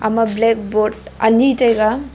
ama black board ani taiga.